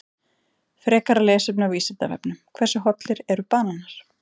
Frekara lesefni á Vísindavefnum: Hversu hollir eru bananar?